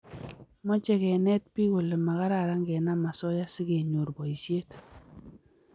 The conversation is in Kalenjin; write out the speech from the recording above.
mache kenet piik kole makaran kenam asoya si kenyor boishet